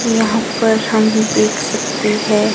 यहां पर हम देख सकते है।